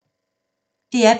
DR P2